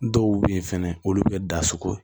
Dɔw bɛ yen fɛnɛ olu bɛ kɛ da sogo ye